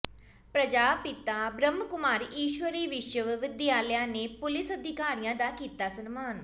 ਪ੍ਰਜਾਪਿਤਾ ਬ੍ਹਮਕੁਮਾਰੀ ਈਸ਼ਵਰੀ ਵਿਸ਼ਵ ਵਿਦਿਆਲਾ ਨੇ ਪੁਲਿਸ ਅਧਿਕਾਰੀਆਂ ਦਾ ਕੀਤਾ ਸਨਮਾਨ